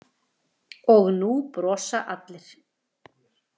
Og nú brosa allir.